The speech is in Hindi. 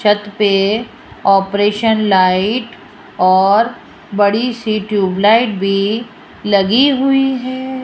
छत पे ऑपरेशन लाइट और बड़ी सी ट्यूबलाइट भी लगी हुई है।